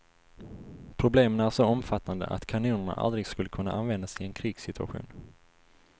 Problemen är så omfattande att kanonerna aldrig skulle kunna användas i en krigssituation.